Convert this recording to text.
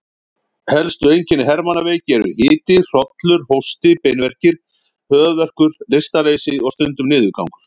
Helstu einkenni hermannaveiki eru hiti, hrollur, hósti, beinverkir, höfuðverkur, lystarleysi og stundum niðurgangur.